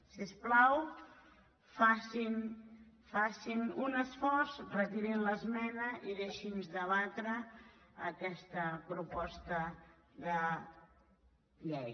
si us plau facin un esforç retirin l’esmena i deixin nos debatre aquesta proposta de llei